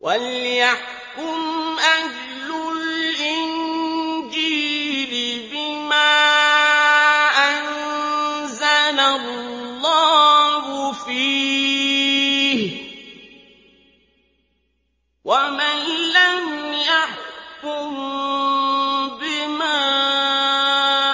وَلْيَحْكُمْ أَهْلُ الْإِنجِيلِ بِمَا أَنزَلَ اللَّهُ فِيهِ ۚ وَمَن لَّمْ يَحْكُم بِمَا